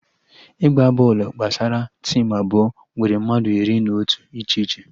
Ịgba bọọlụ gbasara tim abụọ nwere mmadụ iri na otu iche iche